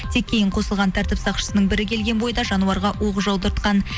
тек кейін қосылған тәртіп сақшысының бірі келген бойда жануарға оқ жаудыртқан